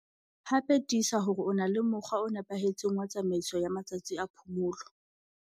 Hape tiisa hore o na le mokgwa o nepahetseng wa tsamaiso ya matsatsi a phomolo.